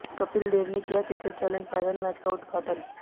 कपिल देव ने किया cricket challenge final match का किया उद्घाटन